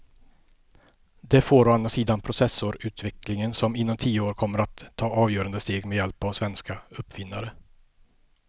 Det får å andra sidan processorutvecklingen som inom tio år kommer att ta avgörande steg med hjälp av svenska uppfinnare.